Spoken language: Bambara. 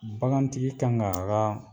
Bagantigi kan ga a ga